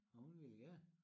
Og hun vil gerne